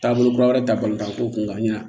Taabolo kura wɛrɛ ta balima ko kun ka ɲin